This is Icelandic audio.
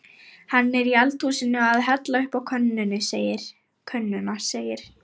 Hann er í eldhúsinu að hella uppá könnuna segir